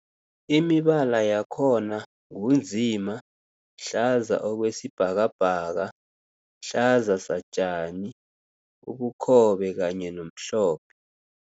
Imibala yakhona ngu nzima, hlaza okwesibhakabhaka, hlaza satjani, ubukhobe kanye nomhlophe.